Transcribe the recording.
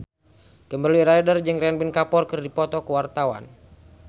Kimberly Ryder jeung Ranbir Kapoor keur dipoto ku wartawan